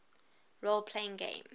role playing games